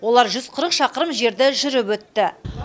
олар жүз қырық шақырым жерді жүріп өтті